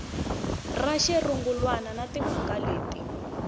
ra xirungulwana na timhaka leti